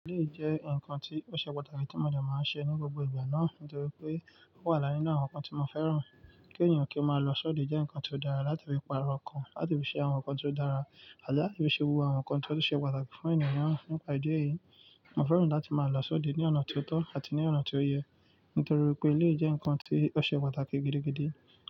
Iléyi jẹ́ ǹkan tí ó ṣe pàtàkì tí mọ̀ọ́ de máa ń ṣe ní gbogbo ìgbà náà, nítorí pé ó wà inú àwọn ǹkan tí mo fẹ́ràn. Kí èeyàn kí ó máa lọ sọ́de jẹ́ ǹkan tó dára láti fi paro ọkàn, láti fi ṣe àwọn ǹkan tó dára àti láti fi ṣe gbogbo àwọn ǹkan tó ṣe pàtàkì fún ènìyàn naa. Nípa ìdí èyí, mo fẹ́ràn láti máa lọ sọ́de ní ọ̀nà ti ó tó àti ní ọ̀nà ti ó yẹ, nítorí pé eléyi jẹ́ ǹkan tí ó ṣe pàtàkì gidigidi.